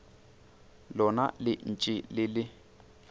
lona le ntše le le